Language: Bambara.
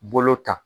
Bolo ta